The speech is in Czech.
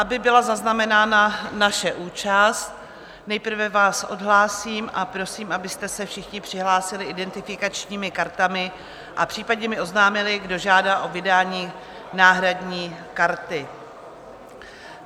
Aby byla zaznamenána naše účast, nejprve vás odhlásím a prosím, abyste se všichni přihlásili identifikačními kartami a případně mi oznámili, kdo žádá o vydání náhradní karty.